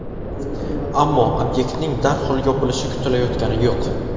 Ammo obyektning darhol yopilishi kutilayotgani yo‘q.